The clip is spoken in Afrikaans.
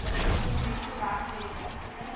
komponent verwerk projekaansoeke